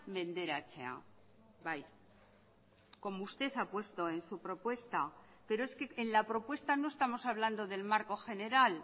menderatzea bai como usted ha puesto en su propuesta pero es que en la propuesta no estamos hablando del marco general